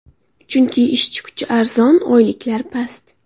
Chunki ishchi kuchi arzon, oyliklar past.